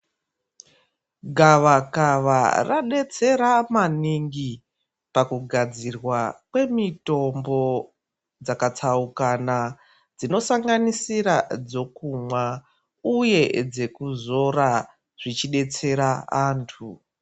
Gavakava radetsera maningi pakugadzirwa kwemitombo dzakatsaukana dzinosanganisira dzokumwa uyee dzekuzora zvichidetsera antu